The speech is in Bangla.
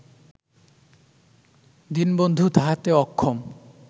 দীনবন্ধু তাহাতে অক্ষম